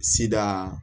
Sidaa